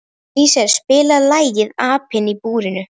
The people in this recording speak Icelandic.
Elíeser, spilaðu lagið „Apinn í búrinu“.